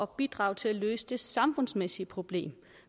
bidrage til at løse det samfundsmæssige problem